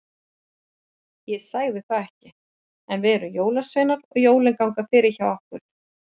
Ég sagði það ekki, en við erum jólasveinar og jólin ganga fyrir hjá okkur.